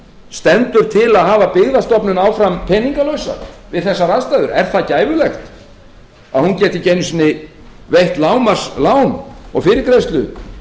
stendur til að hafa byggðastofnun áfram peningalausa við þessar aðstæður er það gæfulegt að hún geti ekki einu sinni veitt lágmarkslán og fyrirgreiðslu